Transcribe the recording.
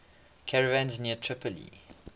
caravans near tripoli